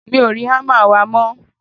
mi ò rí hámà wa mọ́